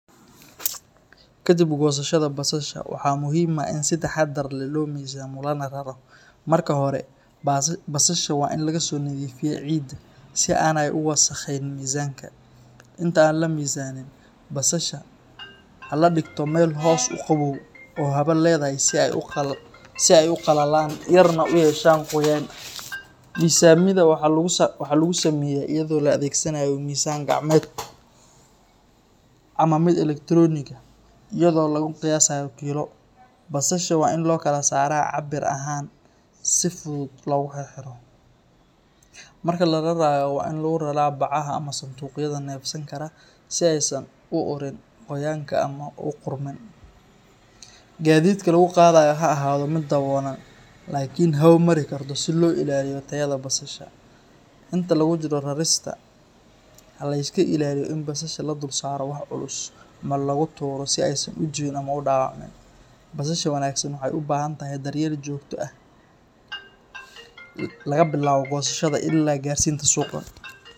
Kadib goosashada basasha, waxaa muhiim ah in si taxadar leh loo miisaamo lana raro. Marka hore, basasha waa in laga soo nadiifiyaa ciidda si aanay u wasakhayn miisaanka. Inta aan la miisaanin, basasha ha la dhigto meel hoos u qabow oo hawo leedahay si ay u qalalaan yarna u yeeshaan qoyaan. Miisaamida waxaa lagu sameeyaa iyadoo la adeegsanayo miisaan gacmeed ama mid elektaroonig ah iyadoo lagu qiyaasayo kilo. Basasha waa in loo kala saaraa cabbir ahaan si si fudud loogu xirxiro. Marka la rarayo, waa in lagu raraa bacaha ama sanduuqyada neefsan kara si aysan u ururin qoyaanka ama u qudhmin. Gaadiidka lagu qaadayo ha ahaado mid daboolan laakiin hawo mari karto si loo ilaaliyo tayada basasha. Inta lagu jiro rarista, ha la iska ilaaliyo in basasha la dulsaarto wax culus ama lagu tuuro si aysan u jabin ama u dhaawacmin. Basasha wanaagsan waxay u baahan tahay daryeel joogto ah laga bilaabo goosashada ilaa gaarsiinta suuqa.